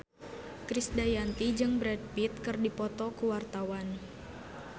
Krisdayanti jeung Brad Pitt keur dipoto ku wartawan